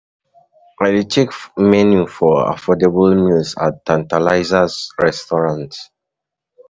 I dey check menu for affordable meals at Tantalizers restaurant.